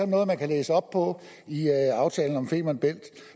noget man kan læse op på i aftalen om femern bælt